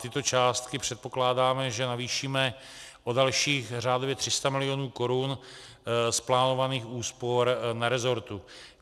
Tyto částky předpokládáme, že navýšíme o dalších řádově 300 mil. korun z plánovaných úspor na resortu.